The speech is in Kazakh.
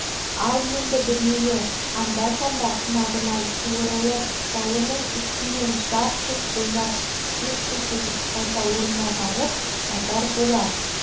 ал енді біреуі анда-санда қынабынан суырылып жауының үстінен жарқ-жұрқ ойнап сес көрсетіп қайта орнына барып жатар болар